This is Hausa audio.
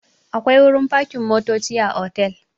Akwai wurin fakin motoci a otal.